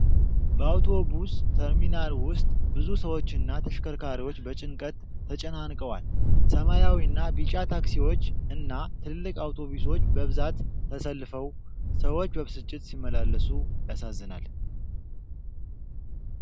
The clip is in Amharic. በአውቶቡስ ተርሚናል ውስጥ ብዙ ሰዎችና ተሽከርካሪዎች በጭንቀት ተጨናንቀዋል። ሰማያዊና ቢጫ ታክሲዎች እና ትልልቅ አውቶቡሶች በብዛት ተሰልፈው፣ ሰዎች በብስጭት ሲመላለሱ ያሳዝናል።